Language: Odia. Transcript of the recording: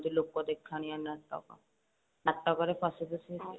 ଲୋକଦେଖାଣିଆ ନାଟକ ନାଟକରେ ପଶି ପଶି ଆସି